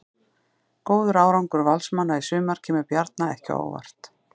Góður árangur Valsmanna í sumar kemur Bjarna ekki á óvart.